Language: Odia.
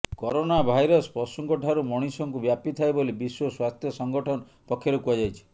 କରୋନା ଭାଇରସ୍ ପଶୁଙ୍କଠାରୁ ମଣିଷଙ୍କୁ ବ୍ୟାପିଥାଏ ବୋଲି ବିଶ୍ବ ସ୍ବାସ୍ଥ୍ୟ ସଂଗଠନ ପକ୍ଷରୁ କୁହାଯାଇଛି